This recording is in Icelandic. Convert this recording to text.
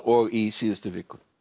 og í síðustu viku